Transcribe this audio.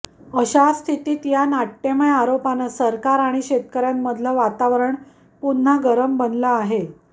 अशा स्थितीत या नाट्यमय आरोपानं सरकार आणि शेतकऱ्यांमधलं वातावरण पुन्हा गरम बनलं आहे